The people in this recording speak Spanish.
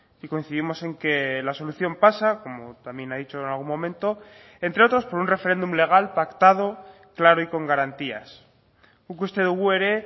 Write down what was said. y coincidimos en que la solución pasa como también ha dicho en algún momento entre otros por un referéndum legal pactado claro y con garantías guk uste dugu ere